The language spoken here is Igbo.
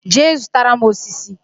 Jee zụtara m osisi!